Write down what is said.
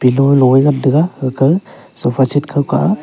pillow lolo ngantaga gaga sofa seat khaw kah aa.